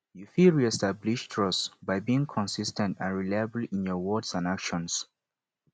you fit reestablish trust by being consis ten t and reliable in your words and actions